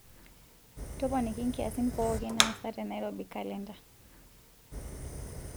toponiki nkiasin pooki naasa te nairobi kalenda